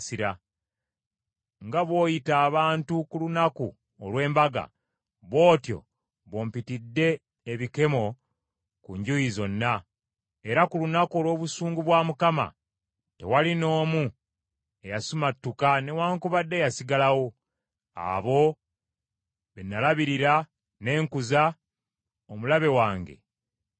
“Nga bw’oyita abantu ku lunaku olw’embaga, bw’otyo bw’ompitidde ebikemo ku njuyi zonna; era ku lunaku olw’obusungu bwa Mukama , tewali n’omu eyasimattuka newaakubadde eyasigalawo; abo be nalabirira ne nkuza, omulabe wange be yazikiriza.”